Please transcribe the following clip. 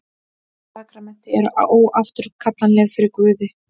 Sakramenti eru óafturkallanleg fyrir Guði.